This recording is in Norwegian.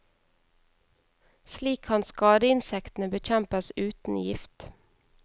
Slik kan skadeinsektene bekjempes uten gift.